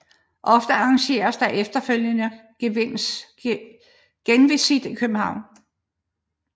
Ofte arrangeres der efterfølgende genvisit i København